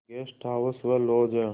guest house व lodge हैं